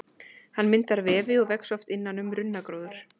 Hann myndar vefi og vex oft innan um runnagróður.